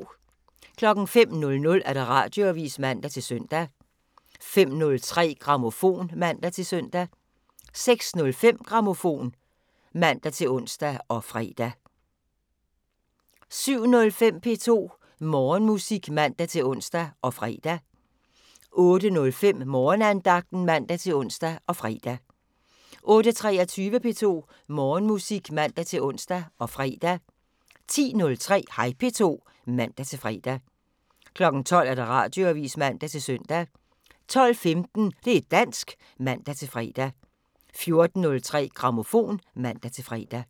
05:00: Radioavisen (man-søn) 05:03: Grammofon (man-søn) 06:05: Grammofon (man-ons og fre) 07:05: P2 Morgenmusik (man-ons og fre) 08:05: Morgenandagten (man-ons og fre) 08:23: P2 Morgenmusik (man-ons og fre) 10:03: Hej P2 (man-fre) 12:00: Radioavisen (man-søn) 12:15: Det' dansk (man-fre) 14:03: Grammofon (man-fre)